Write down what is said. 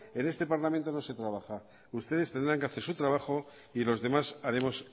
en este parlamento no se trabaja ustedes tendrán que hacer su trabajo y los demás haremos